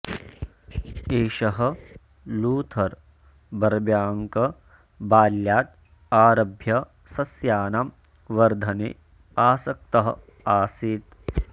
एषः Luther Burbank बाल्यात् आरभ्य सस्यानां वर्धने आसक्तः आसीत्